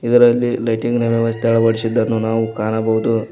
ಇದರಲ್ಲಿ ಲೈಟಿಂಗ್ ನ ವ್ಯವಸ್ಥೆ ಅಳವಡಿಸಿದ್ದನ್ನು ನಾವು ಕಾಣಬಹುದು.